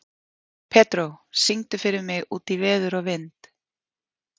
Pedró, syngdu fyrir mig „Út í veður og vind“.